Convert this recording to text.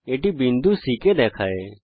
এটা বিন্দু C কে দেখায়